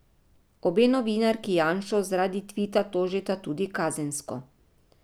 Obe novinarki Janšo zaradi tvita tožita tudi kazensko.